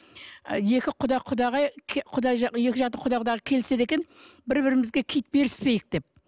ы екі құда құдағай екі жақты құда құдағай келіседі екен бір бірімізге киіт беріспейік деп